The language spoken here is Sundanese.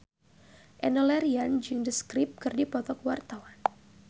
Enno Lerian jeung The Script keur dipoto ku wartawan